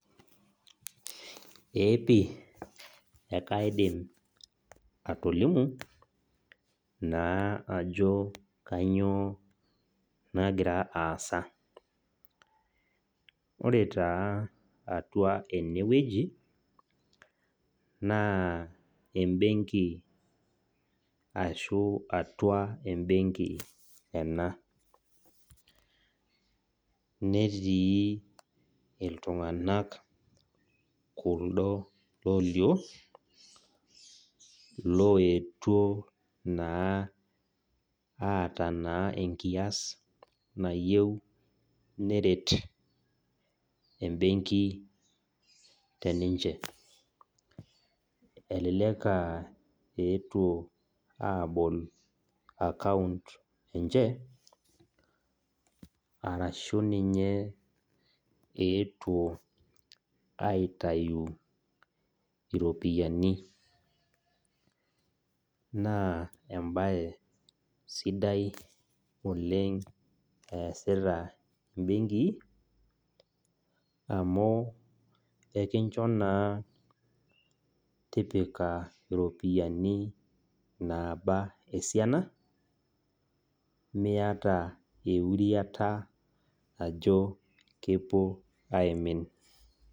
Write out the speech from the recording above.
Eeepi ekaidim atolimu ajo kainyio nagira aasa .Ore taa enewueji naa embenki ashu atua embenki ena , netii iltunganak kuldo loyio , loetuo naa aata naa enkias nayieu neret embenki teninche .Elelek aa etuo ninche abol account enche arashu ninye eetuo aitayu iropiyiani, naa embae sidai oleng easita imbenkii amu ekincho naa tipika iropiyiani naba esiana miata euriata ajo kepuo aimin.